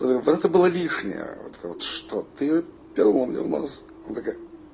вот это было лишнее вот то что ты пёрнула мне в нос она такая